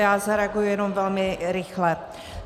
Já zareaguji jenom velmi rychle.